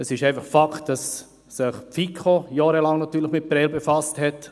Es ist einfach Fakt, dass sich die FiKo natürlich jahrelang mit Prêles befasst hat.